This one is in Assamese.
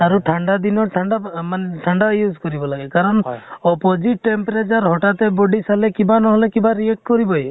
আৰু ঠাণ্ডা দিনত ঠাণ্ডা মানে আ ঠাণ্ডা use কৰিব লাগে, কাৰণ opposite temperature হঠাৎ তে body পালে কিবা নহʼলে কিবা react কৰিবৈ ।